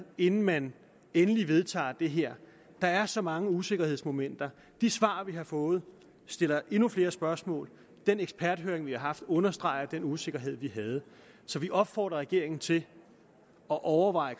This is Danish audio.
inden man endelig vedtager det her der er så mange usikkerhedsmomenter de svar vi har fået stiller endnu flere spørgsmål den eksperthøring vi har haft understreger den usikkerhed vi havde så vi opfordrer regeringen til at overveje